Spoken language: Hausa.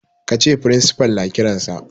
Ka ce principal na kiransa.